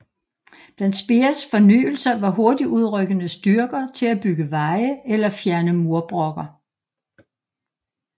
Blandt Speers fornyelser var hurtigtudrykkende styrker til at bygge veje eller fjerne murbrokker